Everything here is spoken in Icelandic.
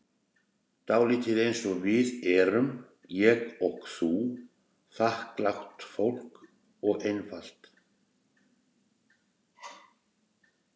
Dálítið einsog við erum, ég og þú, þakklátt fólk og einfalt.